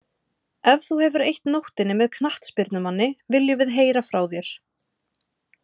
Ef þú hefur eytt nóttinni með knattspyrnumanni, viljum við heyra frá þér.